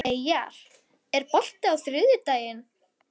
Sá leikur átti ekkert skylt við heimsstyrjöldina síðari.